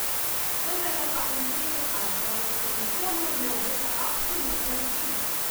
Vendarle pa ankete kažejo, da se nikomur ne obeta absolutna večina.